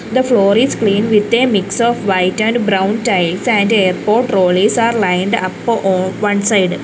the floor is clean with a mix of white and brown tiles and airport trolleys are lined up on one side.